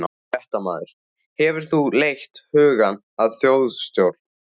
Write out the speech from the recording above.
Fréttamaður: Hefur þú leitt hugann að þjóðstjórn?